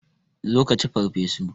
Zo ka ci farfesu!